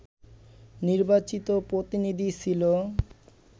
নির্বাচিত প্রতিনিধি ছিল